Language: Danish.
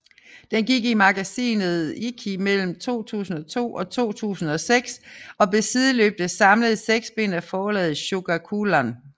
Den gik i magasinet Ikki mellem 2002 og 2006 og blev sideløbende samlet i seks bind af forlaget Shogakukan